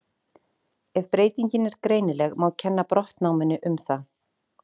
Ef breytingin er greinileg má kenna brottnáminu um það.